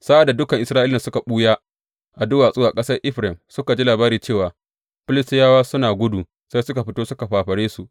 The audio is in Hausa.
Sa’ad da dukan Isra’ilawan da suka ɓuya a duwatsu a ƙasar Efraim suka ji labari cewa Filistiyawa suna gudu, sai suka fito suka fafare su.